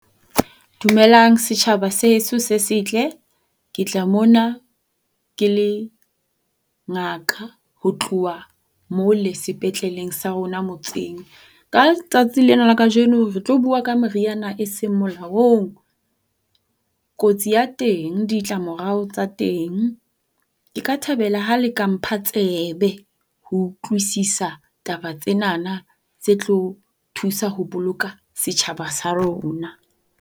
Dumelang setjhaba sa heso se setle. Ke tla mona ke le ngaka ho tloha mole sepetleleng sa rona motseng. Ka letsatsi lena la kajeno re tlo bua ka meriana e seng molaong. Kotsi ya teng, ditla morao tsa teng. Ke ka thabela ha le ka mpha tsebe ho utlwisisa taba tsena tse tlo thusa ho boloka setjhaba sa rona.